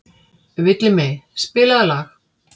Villimey, spilaðu lag.